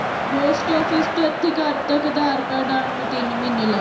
post office ਤੋਂ ਇਥੇ ਘਰ ਤਕ Aadhar card ਆਉਣ ਨੂੰ ਤਿੰਨ ਮਹੀਨੇ ਲੱਗਦੇ